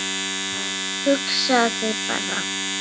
Hugsaðu þér bara.